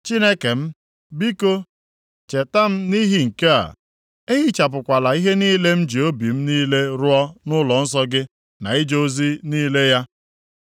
Chineke m, biko cheta m nʼihi nke a, ehichapụkwala ihe niile m ji obi m niile rụọ nʼụlọnsọ gị na ije ozi niile ya.